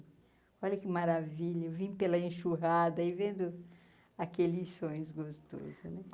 Olha que maravilha, vim pela enxurrada e vendo aqueles sonhos gostosos né.